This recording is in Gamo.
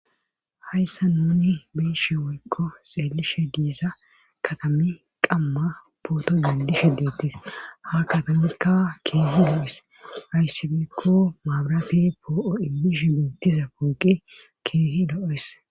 Hayssan nuuni be7ishe woykko xeellishe diiza katamey qamma pooto denddishe deettes;ha katamaykka keehi lo7es;ayssi giikko mabraate poo7o immishin diza pooqe keehi lo7es.